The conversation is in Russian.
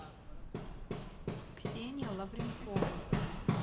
ксения лавренкова